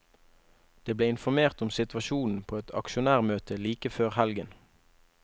De ble informert om situasjonen på et aksjonærmøte like før helgen.